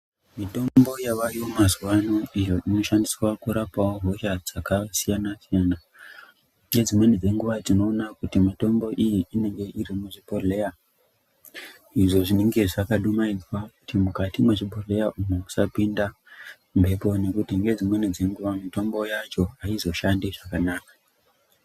Mitombo yavayo mazuva ano iyo ino shandiswa kurapawo hosha dzaka siyana siyana nge dzimweni dze nguva tinoona kuti mitombo iyi inonga iri muzvi bhodhleya izvo zvinenge zvaka du maidzwa kuti mwukati mwe zvibhohleya umu musa pinda mhepo ngekuti nge dzimweni dze nguva mutombo yacho aizo shandi zvakanaka.